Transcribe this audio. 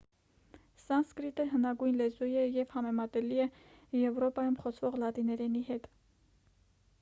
սանսկրիտը հնագույն լեզու է և համեմատելի է եվրոպայում խոսվող լատիներենի հետ